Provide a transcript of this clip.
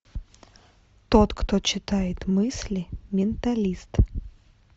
тот кто читает мысли менталист